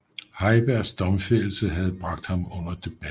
Heibergs domfældelse havde bragt under debat